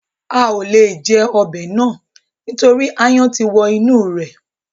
A à le jẹ ọbẹ̀ náà nítorí áyán ti wọ inú rẹ̀